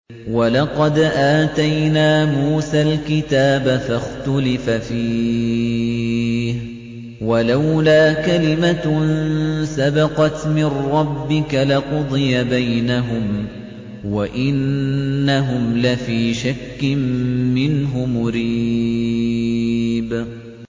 وَلَقَدْ آتَيْنَا مُوسَى الْكِتَابَ فَاخْتُلِفَ فِيهِ ۗ وَلَوْلَا كَلِمَةٌ سَبَقَتْ مِن رَّبِّكَ لَقُضِيَ بَيْنَهُمْ ۚ وَإِنَّهُمْ لَفِي شَكٍّ مِّنْهُ مُرِيبٍ